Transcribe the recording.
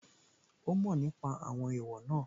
Ó mọ̀ nípa àwọn èèwọ̀ náà